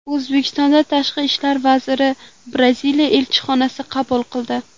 O‘zbekiston Tashqi ishlar vaziri Braziliya elchisini qabul qildi.